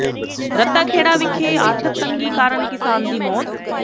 ਰੱਤਾ ਖੇੜਾ ਵਿਖੇ ਆਰਥਿਕ ਤੰਗੀ ਕਾਰਨ ਕਿਸਾਨ ਦੀ ਮੌਤ